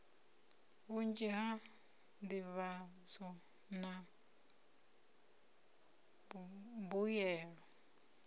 vhunzhi ha nḓivhadzo na mbuyelo